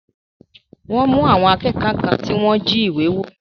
Wọ́n mú àwọn akékọ̀ọ́ kan tí wọ́n jí ìwé wò.